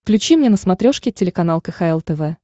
включи мне на смотрешке телеканал кхл тв